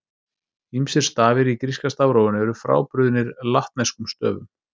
Ýmsir stafir í gríska stafrófinu eru frábrugðnir latneskum stöfum.